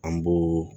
An b'o